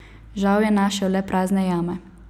Žal je našel le prazne jame.